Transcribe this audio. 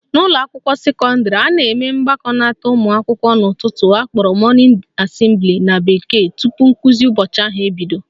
N'ụlọakwụkwọ sekọndịrị, a na-eme mgbakọnata ụmụakwụkwọ n'ụtụtụ akpọrọ morning assembly na bekee tupu nkụzi ụbọchị ahụ ebido